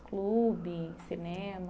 Clube, cinema?